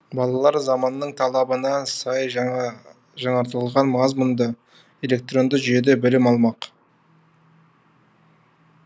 балалар заманның талабына сай жаңартылған мазмұнда электронды жүйеде білім алмақ